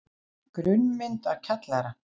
Grunnmynd af kjallara.